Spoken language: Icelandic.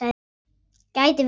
Gæti verið.